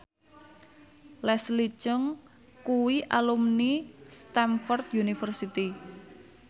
Leslie Cheung kuwi alumni Stamford University